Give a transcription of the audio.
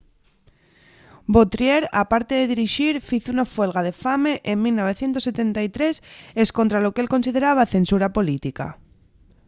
vautier aparte de dirixir fizo una fuelga de fame en 1973 escontra lo qu'él consideraba censura política